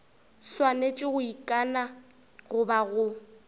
swanetše go ikana goba go